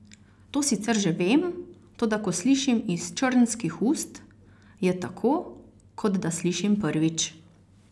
To sicer že vem, toda ko slišim iz črnskih ust, je tako, kot da slišim prvič.